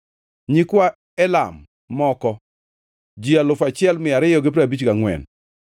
nyikwa Elam moko, ji alufu achiel mia ariyo gi piero abich gangʼwen (1,254),